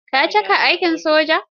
Ka cike aikin soja.